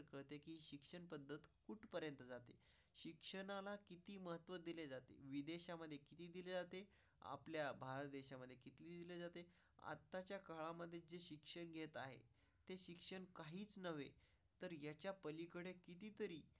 शिक्षणाला किती महत्त्व दिले जाते? विदेशामध्ये किती दिली जाते आपल्या भारत देशामध्ये खेळली जाते. आताच्या काळामध्ये शिक्षण घेत आहे. त्या शिक्षण काहीच नव्हे तर याच्यापलीकडे कितीतरीजी.